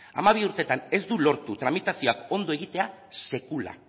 hamabi urtetan ez du lortu tramitazioak ondo egitea sekula